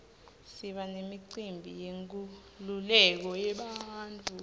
siba nemicimbi yenkululeko yebantfu